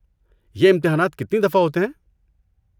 یہ امتحانات کتنی دفعہ ہوتے ہیں؟